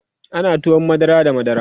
ana tuwon madara da madara